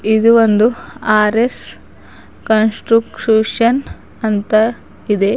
ಇದು ಒಂದು R S construction ಅಂತ ಇದೆ.